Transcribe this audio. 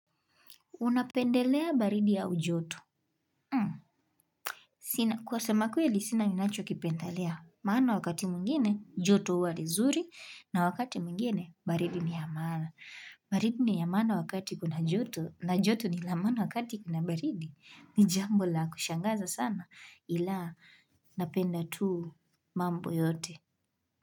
Unapendelea baridi au joto. Kwa sema kweli sina ninacho kipendelea. Maana wakati mwingine joto hua ni zuri na wakati mwingine baridi ni ya maana. Baridi ni ya maana wakati kuna joto na joto ni la maana wakati kuna baridi. Nijambo la kushangaza sana ila napenda tu mambo yote.